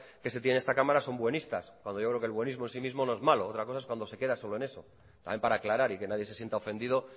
que se tienen en esta cámara son buenistas cuando yo creo que el buenismo en sí mismo no es malo otra cosa es cuando se queda solo en eso también para aclarar y que nadie se sienta ofendido